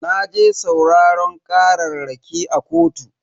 Naje sauraran kararraki a kotu.